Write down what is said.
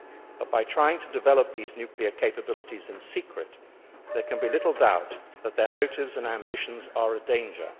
But by trying to develop these nuclear capabilities in secret, there can be little doubt that their motives and ambitions are a danger.